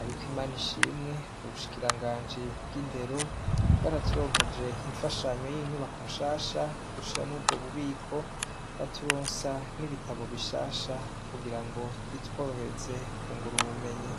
ariko imana ishimwe uwushikiranganje bw'indero bw'araturonkeje imfashanyo y'inyubako nshasha dushiramwo ubwo bubiko baturonke sa n'ibitabo bishasha kugira ngo bitworohereze ku ngura ubumenyi.